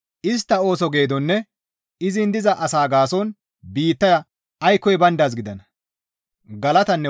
Istta ooso geedonne izin diza asaa gaason biittaya aykkoy bayndaaz gidana.